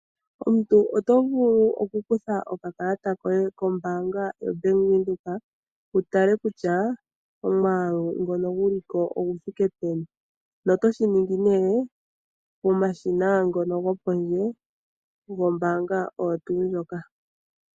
Omuntu otovulu okukutha okakalata koye koBank Windhoek wu tale kutya omwaalu ngoka guliko oguthike peni, na otoshiningi ne pomashina ngoka gopondje gombaanga oyo tu ndjoka.